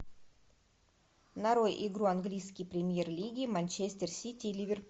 нарой игру английской премьер лиги манчестер сити ливерпуль